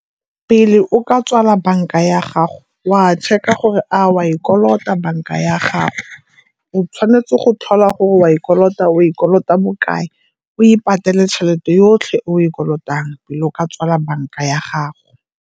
Pele o ka tswala banka ya gago o a a check-a gore a o a e kolota banka ya gago. O tshwanetse go tlhola gore o a e kolota, o kolota bo kae, o e patele tšhelete yotlhe o e kolotang pele o ka tswala banka ya gago.